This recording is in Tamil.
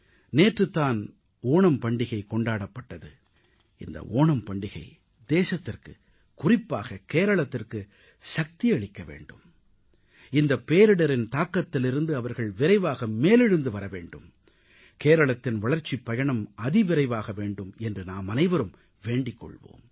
நேற்று தான் ஓணம் பண்டிகை கொண்டாடப்பட்டது இந்த ஓணம் பண்டிகை தேசத்திற்கு குறிப்பாக கேரளத்திற்கு சக்தியளிக்க வேண்டும் இந்த பேரிடரின் தாக்கத்திலிருந்து அவர்கள் விரைவாக மேலெழுந்து வரவேண்டும் கேரளத்தின் வளர்ச்சிப் பயணம் அதிவிரைவாக வேண்டும் என்று நாமனைவரும் வேண்டிக் கொள்வோம்